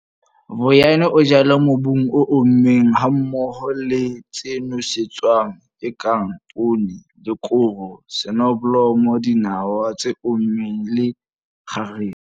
Vuyani o jala mobung o ommeng hammoho le tse nosetswang tse kang poone le koro, soneblomo, dinawa tse ommeng le kgarese.